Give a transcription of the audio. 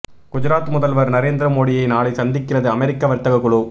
குஜராத் முதல்வர் நரேந்திர மோடியை நாளை சந்திக்கிறது அமெரிக்க வர்த்தக குழு